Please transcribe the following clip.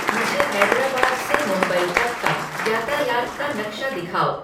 मुझे हैदराबाद से मुंबई तक का यातायात का नक्शा दिखाओ